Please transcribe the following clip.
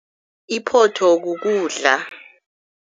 Iphotho kukudla.